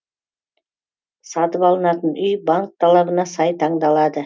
сатып алынатын үй банк талабына сай таңдалады